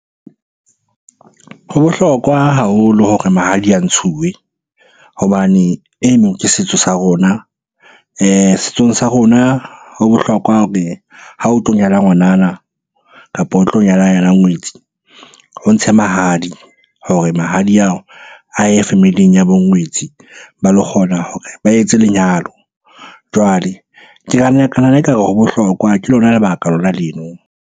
Ho bohlokwa haholo hore mahadi a ntshiwe hobane eno ke setso sa rona. Setsong sa rona ho bohlokwa hore ha o tlo nyala ngwanana, kapo o tlo nyalana yena ngwetsi. O ntshe mahadi hore mahadi ao a ye family-ing ya bo ngwetsi ba lo kgona hore ba etse lenyalo. Jwale ke ekare ho bohlokwa, ke lona lebaka lona leno.